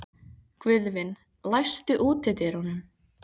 Guðvin, læstu útidyrunum.